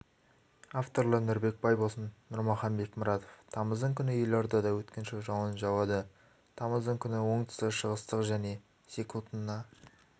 авторлары нұрбек байбосын нұрмахан бекмұратов тамыздың күні елордада өткінші жауын жауады тамыздың күні оңтүстік-шығыстық және секундына